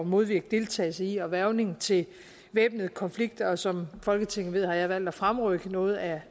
modvirke deltagelse i og hvervning til væbnede konflikter og som folketinget ved har jeg valgt at fremrykke noget af